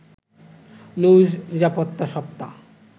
নৌ-নিরাপত্তা সপ্তাহ